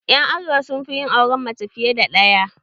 Ƴan arewa sun fi yin auren mace fiye da ɗaya.